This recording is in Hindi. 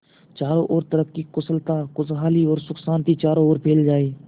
चारों और तरक्की कुशलता खुशहाली और सुख शांति चारों ओर फैल जाए